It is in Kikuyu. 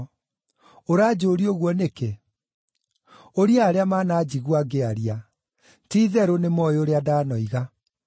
Ũranjũria ũguo nĩkĩ? Ũria arĩa mananjigua ngĩaria. Ti-itherũ nĩmoĩ ũrĩa ndanoiga.”